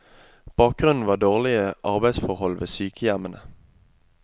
Bakgrunnen var dårlige arbeidsforhold ved sykehjemmene.